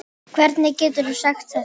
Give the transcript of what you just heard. Hvernig geturðu sagt þetta?